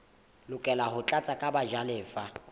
lokela ho tlatswa ke bajalefa